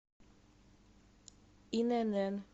инн